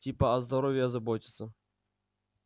типа о здоровье заботятся